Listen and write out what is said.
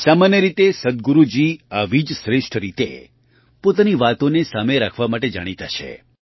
સામાન્ય રીતે સદ્ગુરુજી આવી જ શ્રેષ્ઠ રીતે પોતાની વાતોને સામે રાખવા માટે જાણીતા છે